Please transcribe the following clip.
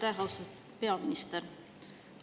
Aitäh, austatud peaminister!